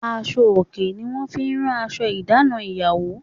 Aṣọ òkè ni wọ́n fi rán aṣọ ìdáná ìyàwó.